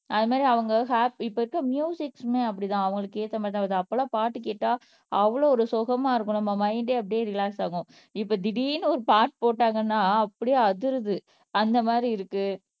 அது மாதிரி அவங்க ஹாப் இப்ப இருக்க ம்யூசிக்ஸ்மே அப்படித்தான் அவங்களுக்கு ஏத்த மாதிரிதான் வருது அப்ப எல்லாம் பாட்டு கேட்டா அவ்வளவு ஒரு சுகமா இருக்கும் நம்ம மைண்ட்டே அப்படியே ரிலாக்ஸ் ஆகும் இப்ப திடீர்ன்னு ஒரு பாட்டு போட்டாங்கன்னா அப்படியே அதிருது அந்த மாதிரி இருக்கு